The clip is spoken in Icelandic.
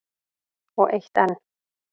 Og eitt enn.